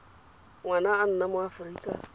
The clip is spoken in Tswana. ngwana a nna mo aforika